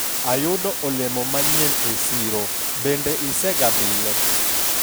ayudo olemo manyien e siro. bende isegabile?